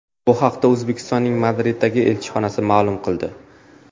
Bu haqda O‘zbekistonning Madriddagi elchixonasi ma’lum qildi .